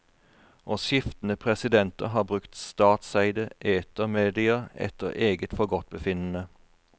Og skiftende presidenter har brukt statseide etermedier etter eget forgodtbefinnende.